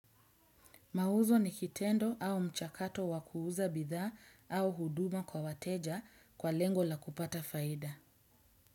Mauzo ni kitendo au mchakato wakuuza bidha au huduma kwa wateja kwa lengo la kupata faida.